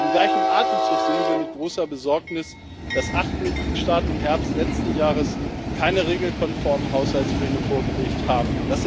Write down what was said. Im gleichen Atemzug sehen wir mit großer Besorgnis, dass acht Mitgliedstaaten im Herbst letzten Jahres keine regelkonformen Haushaltspläne vorgelegt haben.